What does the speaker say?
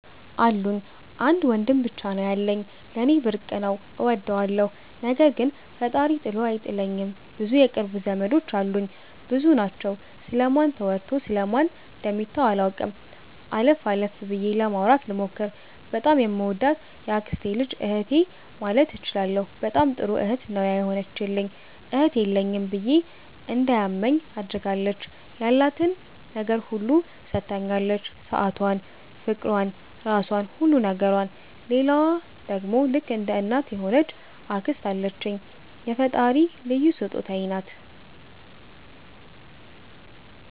አሉኝ። አንድ ወንድም ብቻ ነው ያለኝ። ለኔ ብርቅ ነው እወደዋለሁ። ነገር ግን ፈጣሪ ጥሎ አልጣለኝም ብዙ የቅርብ ዘመዶች አሉኝ። ብዙ ናቸው ስለ ማን ተወርቶ ስለ ማን ደሚተው አላቅም። አለፍ አለፍ ብዬ ለማውራት ልሞክር። በጣም ከምወዳት የአክስቴ ልጅ እህቴ ማለት እችላለሁ በጣም ጥሩ እህት ነው የሆነችልኝ እህት የለኝም ብዬ እንዳይማኝ አድርጋኛለች። ያላትን ነገር ሁሉ ሠታኛለች ሠአቷን ፍቅሯን ራሧን ሁሉ ነገሯን። ሌላዋ ደሞ ልክ እንደ እናት የሆነች አክስት አለችኝ የፈጣሪ ልዩ ሥጦታዬ ናት።